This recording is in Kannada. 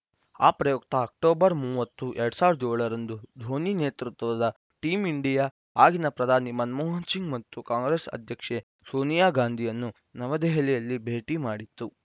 ಆ ಪ್ರಯುಕ್ತ ಅಕ್ಟೋಬರ್‌ ಮೂವತ್ತು ಎರಡ್ ಸಾವಿರದ ಏಳು ರಂದು ಧೋನಿ ನೇತೃತ್ವ ದ ಟೀಮ್‌ ಇಂಡಿಯಾ ಆಗಿನ ಪ್ರಧಾನಿ ಮನಮೋಹನ್‌ ಸಿಂಗ್‌ ಮತ್ತು ಕಾಂಗ್ರೆಸ್‌ ಅಧ್ಯಕ್ಷೆ ಸೋನಿಯಾ ಗಾಂಧಿಯನ್ನು ನವದೆಹಲಿಯಲ್ಲಿ ಭೇಟಿ ಮಾಡಿತ್ತು